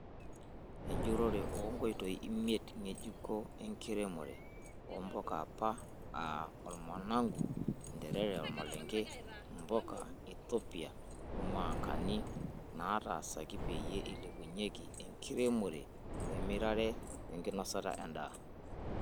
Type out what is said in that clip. Enjurore oo onkitoi imiet ngejuko enkiremore oo mpuka eapa aa; ormanagu, interere, oormalenge, mpuka eithopia oo mwangani naatasaki peyie eilepunyie enkiremore wemirare wenkinosata endaa.